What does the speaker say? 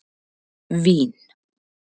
Vín